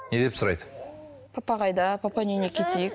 не деп сұрайды папа қайда папаның үйіне кетейік